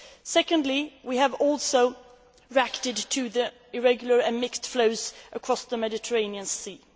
Secondly, we have reacted to the irregular and mixed flows across the Mediterranean Sea.